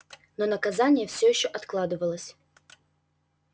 но наказание всё ещё откладывалось